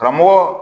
Karamɔgɔ